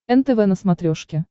нтв на смотрешке